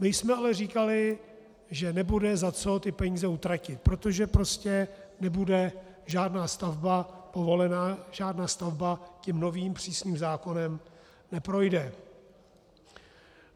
My jsme ale říkali, že nebude za co ty peníze utratit, protože prostě nebude žádná stavba povolena, žádná stavba tím novým přísným zákonem neprojde.